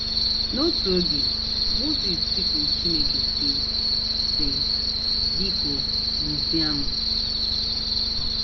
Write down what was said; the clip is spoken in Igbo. N’otu oge, Mosis tikuru Chineke, sị: sị: ‘ Biko, gbusịa m. ’